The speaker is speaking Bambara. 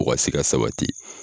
O ka se ka sabati.